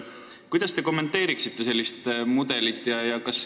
Kuidas te kommenteeriksite sellist mudelit?